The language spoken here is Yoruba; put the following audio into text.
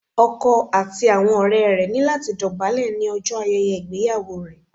Ọkọ àti àwọn ọ̀rẹ́ rẹ̀ ní láti dọ̀bálẹ̀ ní ọjọ́ ayẹyẹ ìgbéyàwó rẹ̀